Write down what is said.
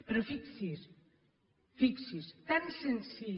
però fixi’s fixi’s tan senzill